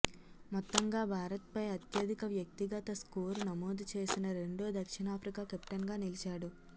మొత్తంగా భారత్పై అత్యధిక వ్యక్తిగత స్కోరు నమోదు చేసిన రెండో దక్షిణాఫ్రికా కెప్టెన్గా నిలిచాడు